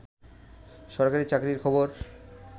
সরকারি চাকরির খবর